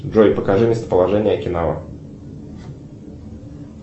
джой покажи местоположение окинава